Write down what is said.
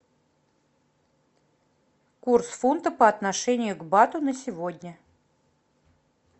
курс фунта по отношению к бату на сегодня